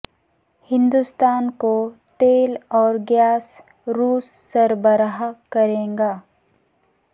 ہندوستان کو تیل اور گیس روس سربراہ کرے گا